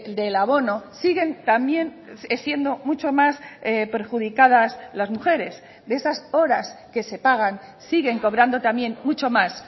del abono siguen también siendo mucho más perjudicadas las mujeres de esas horas que se pagan siguen cobrando también mucho más